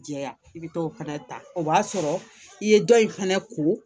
Jɛya i bɛ t'o fana ta o b'a sɔrɔ i ye dɔ in fɛnɛ ko